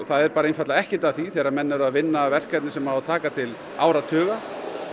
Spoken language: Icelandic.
það er einfaldlega ekkert að því að þegar menn eru að vinna að verkefni sem á að taka til áratuga